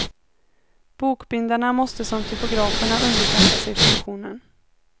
Bokbindarna måste som typograferna underkasta sig funktionen.